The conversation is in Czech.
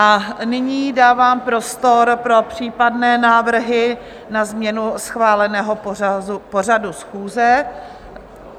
A nyní dávám prostor pro případné návrhy na změnu schváleného pořadu schůze.